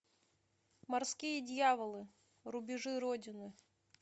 морские дьяволы рубежи родины